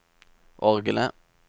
orgelet